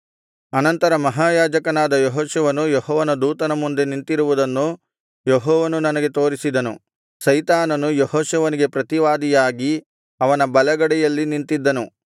ಅನಂತರ ಮಹಾಯಾಜಕನಾದ ಯೆಹೋಶುವನು ಯೆಹೋವನ ದೂತನ ಮುಂದೆ ನಿಂತಿರುವುದನ್ನು ಯೆಹೋವನು ನನಗೆ ತೋರಿಸಿದನು ಸೈತಾನನು ಯೆಹೋಶುವನಿಗೆ ಪ್ರತಿವಾದಿಯಾಗಿ ಅವನ ಬಲಗಡೆಯಲ್ಲಿ ನಿಂತಿದ್ದನು